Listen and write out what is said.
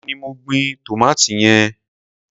Èmi ni mo gbin tòmátì yẹn.